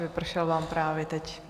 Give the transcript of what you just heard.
Vypršel vám právě teď.